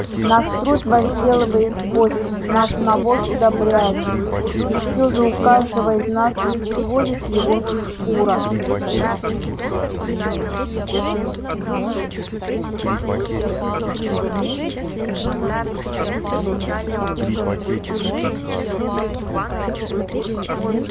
наш труд возделывает почву наш навоз удобряет её и всё же у каждого из нас есть всего лишь его шкура